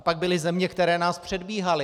A pak byly země, které nás předbíhaly.